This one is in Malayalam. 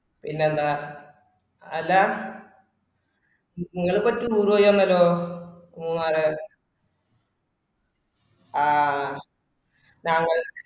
പിന്നെന്താ അല്ലാ നി നിങ്ങളെപറ്റി മൂന്നുവഴിയന്നലോ മൂന്നാലെ ആ താങ്കൾ